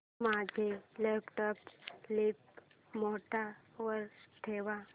माझा laptop sleep mode वर ठेव